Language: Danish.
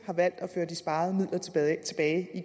har valgt at føre de sparede midler tilbage i